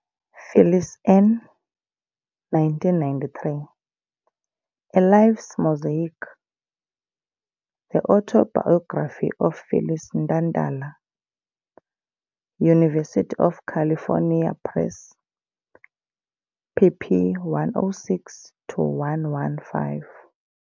Phyllis N., 1993, A life's mosaic- the autobiography of Phyllis Ntantala, University of California Press, pp. 106-115